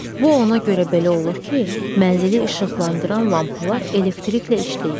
Bu ona görə belə olur ki, mənzili işıqlandıran lampalar elektriklə işləyir.